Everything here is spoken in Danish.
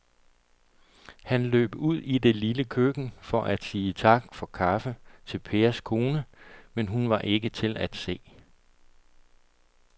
Han løb ud i det lille køkken for at sige tak for kaffe til Pers kone, men hun var ikke til at se.